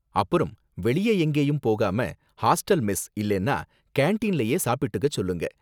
அப்புறம், வெளியே எங்கேயும் போகாம ஹாஸ்டல் மெஸ் இல்லன்னா கேண்டீன்லயே சாப்பிட்டுக்க சொல்லுங்க